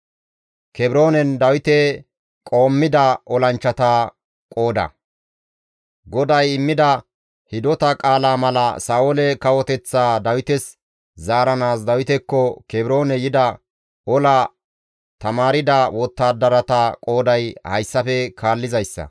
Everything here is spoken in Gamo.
GODAY immida hidota qaalaa mala Sa7oole kawoteththaa Dawites zaaranaas Dawitekko Kebroone yida ola tamaarda wottadarata qooday hayssafe kaallizayssa;